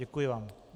Děkuji vám.